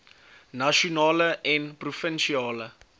nasionale en provinsiale